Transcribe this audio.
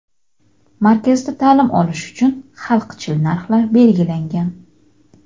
Markazda ta’lim olish uchun xalqchil narxlar belgilangan.